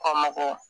Kɔ makɔ